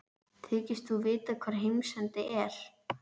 Þykist þú vita hvar heimsendi er?